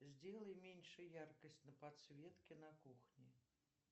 сделай меньше яркость на подсветке на кухне